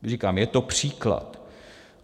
Říkám, je to příklad.